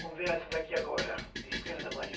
Vamos ver essa daqui agora, Estrela da Manhã.